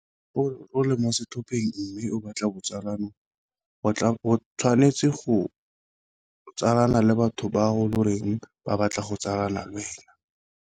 O le mo setlhopheng mme o batla botsalano, o tshwanetse go tsalana le batho bao loreng ba batla go tsalana lwena.